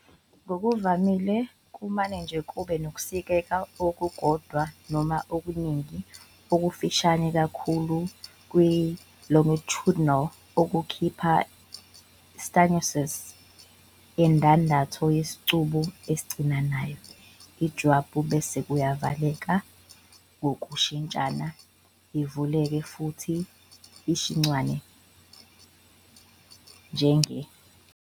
Ngokuvamile kumane nje kube nokusikeka okukodwa noma okuningi okufushane kakhulu kwe-longitudinal okukhipha i-stenosis - indandatho yesicubu esincinanayo - ijwabu bese kuvalwa ngokushintshana- ivaliwe futhi ishunciwe njenge-.